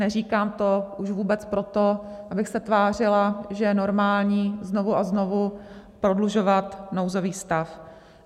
Neříkám to už vůbec proto, abych se tvářila, že je normální znovu a znovu prodlužovat nouzový stav.